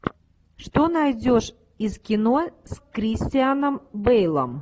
что найдешь из кино с кристианом бейлом